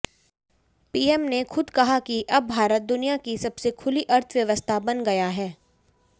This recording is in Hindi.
पीएम ने खुद कहा कि अब भारत दुनिया की सबसे खुली अर्थव्यवस्था बन गया है